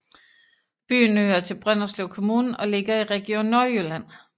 Byen hører til Brønderslev Kommune og ligger i Region Nordjylland